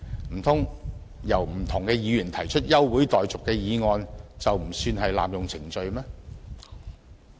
難道由不同的議員提出休會待續的議案，就不算是濫用程序嗎？